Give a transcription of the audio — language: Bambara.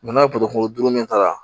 n'a ye min ta